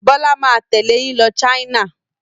Bọ́lá máa tẹ̀lé yín lọ China.